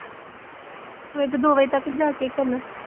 ਸਵੇਰ ਦੇ ਦੋ ਵਜੇ ਤੱਕ ਜਾਗ ਕੇ ਕੀ ਕਰਨਾ